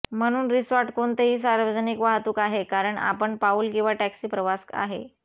म्हणून रिसॉर्ट कोणतेही सार्वजनिक वाहतूक आहे कारण आपण पाऊल किंवा टॅक्सी प्रवास आहे